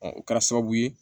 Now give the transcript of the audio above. o kɛra sababu ye